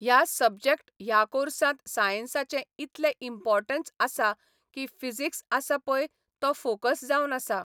ह्या सबजेक्ट ह्या कॉर्सांत सायन्साचें इतलें इम्पोर्टन्स आसा की फिजिक्स आसा पय तो फोकस जावन आसा.